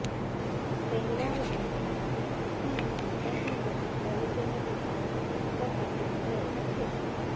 તહેવારો અમારા માટે આસ્થા અને વિશ્ર્વાસના પ્રતિક તરીકે નથી પરંતુ સ્વચ્છતા સાથે જોડાયેલા છે